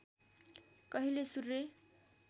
कहिल्यै सूर्य